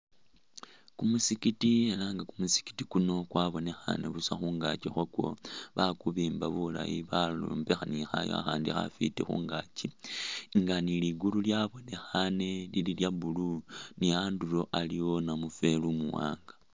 Kumusikiti ela nga kumusikiti kuno kwabonekhane busa khungaki khwako bakubimba bulayi bayombekha ni khayu akhaandi khafwiti khungaaki nga ni ligulu lyabonekhile lya blue ni andulo aliwo namufweli umuwaanga.